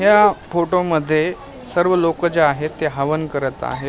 या फोटो मध्ये सर्व लोकं जे आहेत ते हवन करत आहे.